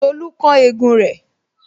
Tolu kán egun rẹ